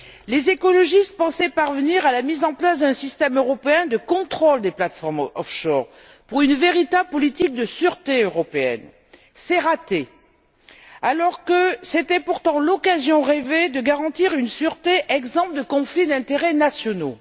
Les écologistes pensaient parvenir à la mise en place d'un système européen de contrôle des plateformes offshore pour une véritable politique de sûreté européenne. C'est raté, alors que c'était pourtant l'occasion rêvée de garantir une sûreté exempte de conflits d'intérêts nationaux.